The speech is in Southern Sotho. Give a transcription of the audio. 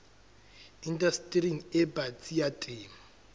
indastering e batsi ya temo